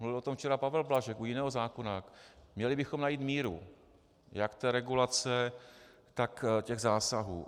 Mluvil o tom včera Pavel Blažek u jiného zákona, měli bychom najít míru jak té regulace, tak těch zásahů.